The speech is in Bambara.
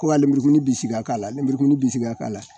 Ko ka lenburukumuni bisi ka k'a la lenburukumuni bisi ka k'a la